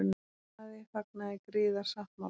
Blaðið fagnaði griðasáttmála